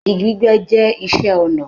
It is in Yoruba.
Igi gbígbẹ́ jẹ́ iṣẹ́ ọnà.